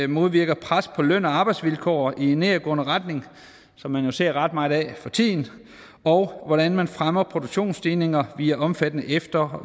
modvirker pres på løn og arbejdsvilkår i nedadgående retning som man jo ser ret meget af for tiden og hvordan man fremmer produktionsstigninger via omfattende efter og